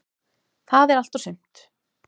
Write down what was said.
Það er allt og sumt.